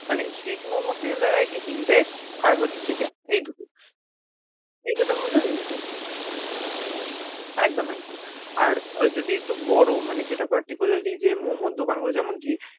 মানে street momo তে variety কি vegie আর হচ্ছে chicken এই দুটো। এই দুটোর মধ্যে একদম একদম। আর যদি একটু বড় মানে যেটা particularly যে momo দোকানগুলো যেমন কি,